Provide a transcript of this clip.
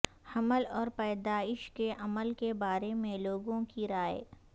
حمل اور پیدائش کے عمل کے بارے میں لوگوں کی رائے